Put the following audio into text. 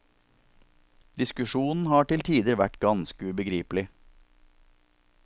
Diskusjonen har til tider vært ganske ubegripelig.